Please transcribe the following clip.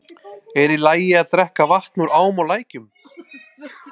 Er í lagi að drekka vatn úr ám og lækjum?